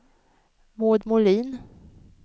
Maud Molin